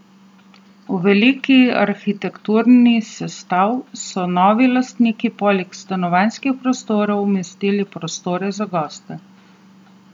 V velik arhitekturni sestav so novi lastniki poleg stanovanjskih prostorov umestili prostore za goste.